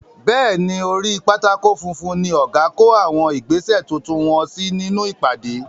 Bẹ́ẹ̀ ni, orí pátákó funfun ní ọ̀gá kó àwọn ìgbésè tuntun wọ́n sí nínú ìpàdé.